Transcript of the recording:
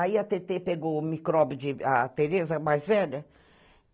Aí a Tetê pegou o micróbio de... a Tereza, mais velha.